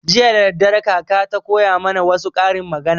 Jiya daddare kaka ta koya mana wassu karin magana